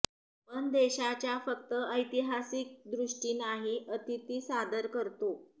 पण देशाच्या फक्त ऐतिहासिक दृष्टी नाही अतिथी सादर करतो